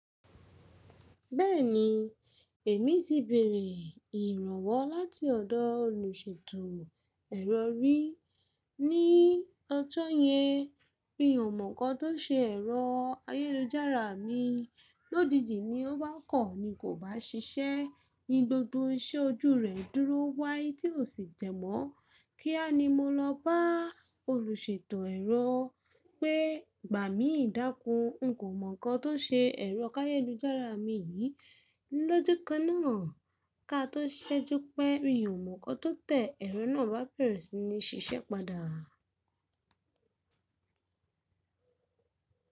Bẹ́ẹ̀ni, èmi ti bèrè ìrànwọ́ láti ọ̀dọ̀ olùṣètò ẹ̀rọ rí ní ọ̀jọ̀ yẹn mi ò mọ̀ nǹkan tó n ṣe ẹ̀rọ ayélujára mi. Lójijì ní ó bá kọ̀ ní kò bá ṣiṣẹ́, ni gbogbo iṣẹ́ ojú rẹ̀ dúró wáí tí ò sì te mọ́. Kíá ni mo lọ bá olùṣètò ẹ̀rọ pé, gbà mí dákún, n kò mọ̀ nǹkan tó n ṣe ẹ̀rọ ayélujára mi yìí. Lójú kan náà ká tó ṣẹ́jú pé mi ò mọ̀ nǹkan tó tẹ̀ ẹ̀rọ náà bá bẹ̀rẹ̀ sí ní ṣiṣẹ́ padà.